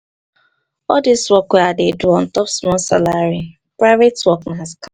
all dis work wey i dey do ontop small salary private work na scam.